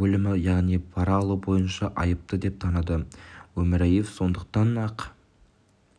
бөлімі яғни пара алу бойынша айыпты деп таныды өмірияев сондай-ақ